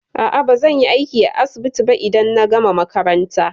A'a, bazan yi aiki a asibiti ba idan na gama makaranta.